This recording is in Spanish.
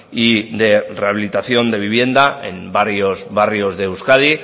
y de rehabilitación de vivienda en varios barrios de euskadi